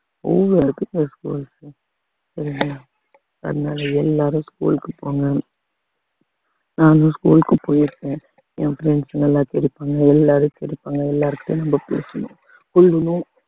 அவ்வளோ இருக்குங்க schools உ சரிங்களா அதனால எல்லாரும் school க்கு போங்க நானும் school க்கு போயிருக்கேன் என் friends ங்க எல்லாம் கிடைப்பாங்க எல்லாரும் கிடைப்பாங்க எல்லார்கிட்டயும் நம்ம பேசணும் போயிடணும்